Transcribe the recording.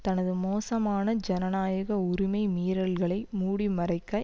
தனது மோசமான ஜனநயாக உரிமை மீறல்களை மூடி மறைக்க